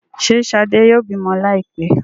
Ṣe shade yóò bimọ laipẹ?